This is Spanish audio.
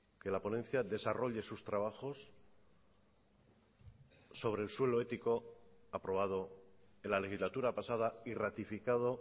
que la ponencia desarrolle sus trabajos sobre el suelo ético aprobado en la legislatura pasada y ratificado